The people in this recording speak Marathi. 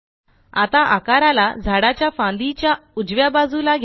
आता आकाराला झाडाच्या फांदीच्या उजव्या बाजूला घ्या